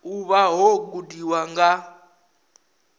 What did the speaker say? u vha wo gudiwa nga